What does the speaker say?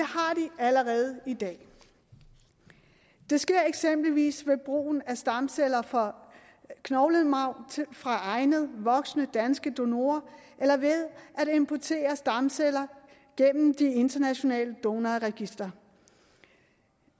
allerede i dag det sker eksempelvis ved brugen af stamceller fra knoglemarv fra egnede voksne danske donorer eller ved at importere stamceller gennem de internationale donorregistre